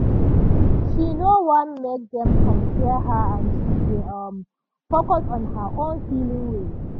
"she no wan make dem compare her and she dey um focus on her own healing way."